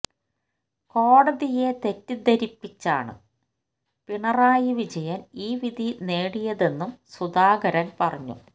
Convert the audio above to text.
കോടതിയെ തെറ്റിദ്ധരിപ്പിച്ചാണ് പിണറായി വിജയന് ഈ വിധി നേടിയതെന്നും സുധാകരന് പറഞ്ഞു